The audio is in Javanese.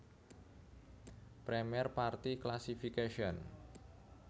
Première partie Classification